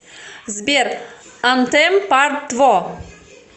сбер антэм парт тво